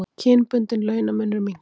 Kynbundinn launamunur minnkar